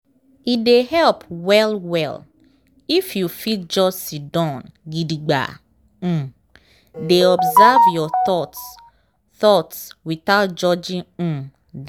e dey help well well if you fit just siddon gidigba um dey observe your thoughts thoughts without judging um dem.